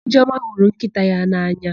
Ijeọma hụrụ nkịta ya n'anya.